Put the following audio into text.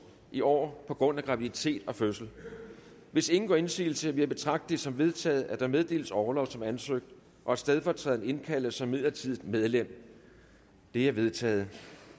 i år på grund af graviditet og fødsel hvis ingen gør indsigelse vil jeg betragte det som vedtaget at der meddeles orlov som ansøgt og at stedfortræderen indkaldes som midlertidigt medlem det er vedtaget